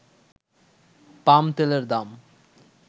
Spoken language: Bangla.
পাম তেলের দাম